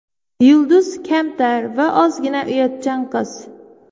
Yulduz kamtar va ozgina uyatchan qiz.